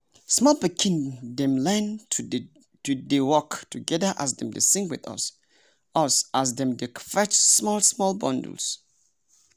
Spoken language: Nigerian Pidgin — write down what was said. small pikin dem learn to dey work together as dem dey sing with us us as dem dey fetch small small bundles.